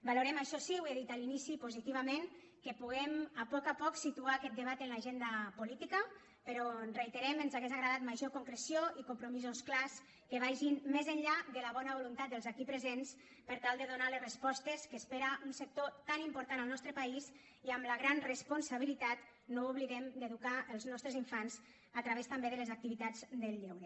valorem això sí ho he dit a l’inici positivament que puguem a poc a poc situar aquest debat en l’agenda política però ho reiterem ens hauria agradat major concreció i compromisos clars que vagin més enllà de la bona voluntat dels aquí presents per tal de donar les respostes que espera un sector tan important al nostre país i amb la gran responsabilitat no ho oblidem d’educar els nostres infants a través també de les activitats del lleure